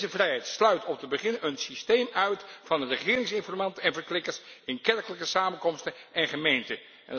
Deze vrijheid sluit om te beginnen een systeem uit van regeringsinformanten en verklikkers in kerkelijke samenkomsten en gemeenten.